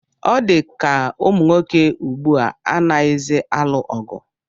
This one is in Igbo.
Ọ dịka ụmụnwoke ugbu a anaghịzi alụ ọgụ